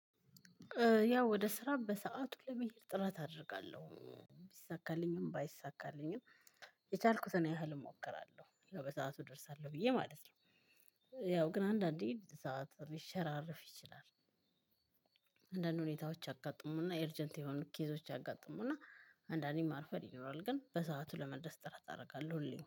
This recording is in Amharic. ያው ወደ ስራ በሰአቱ ለመሄድ ጥረት አደርጋለሁ። ቢሳካልኝም ባይሳካልኝም የቻልኩትን ያህል እሞክራለሁ። በሰአቱ እደርሳለሁ ብዬ ማለት ነው። ያው ግን አንዳንዴ ሰዓት ሊሸራርፍ ይችላል። አንዳንድ ሁኔታዎች አጋጥሙና ኤርጀንት የሆኑ ኬዞች አጋጥሙና አንዳንዴ ማርፈድ ይኖራል። ግን በሰአቱ ለመድረስ ጥረት አደርጋለሁ ሁሌም።